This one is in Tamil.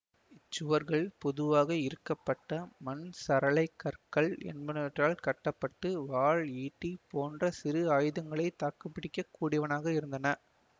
இச் சுவர்கள் பொதுவாக இறுக்கப்பட மண் சரளை கற்கள் என்பனவற்றால் கட்ட பட்டு வாள் ஈட்டி போன்ற சிறு ஆயுதங்களையே தாக்குப்பிடிக்கக் கூடியனவாக இருந்தன